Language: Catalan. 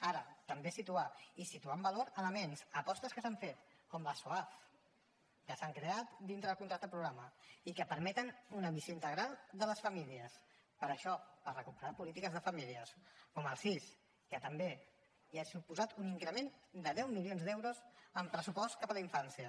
ara també situar i situar amb valor elements apostes que s’han fet com el soaf que s’han creat dintre del contracte programa i que permeten una visió integral de les famílies per això per recuperar polítiques de famílies com el sis que també i ha suposat un increment de deu milions d’euros en pressupost cap a la infància